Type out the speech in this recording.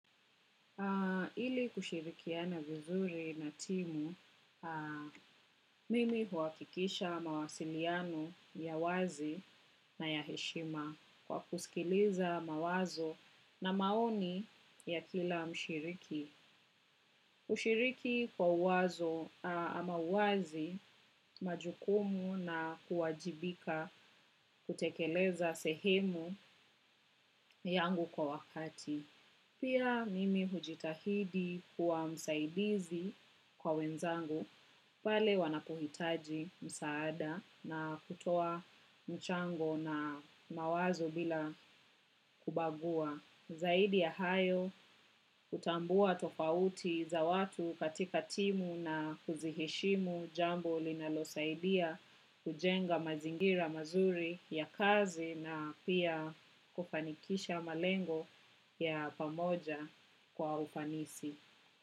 Ili kushirikiana vizuri na timu, mimi huakikisha mawasiliano, ya wazi na ya heshima. Kwa kusikiliza mawazo na maoni, ya kila mshiriki. Ushiriki kwa uwazo ama wazi majukumu na kuwajibika, kutekeleza sehemu yangu kwa wakati. Pia, mimi hujitahidi kuwa msaidizi kwa wenzangu, pale wanapohitaji msaada na kutoa mchango na mawazo bila kubagua. Zaidi ya hayo, hutambua tofauti za watu, katika timu na huziheshimu, jambo linalosaidia, hujenga mazingira mazuri, ya kazi na pia kufanikisha malengo, ya pamoja, kwa ufanisi.